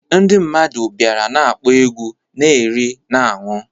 Ndị mmadụ bịara na-akpọ egwu, na-eri, na-aṅụ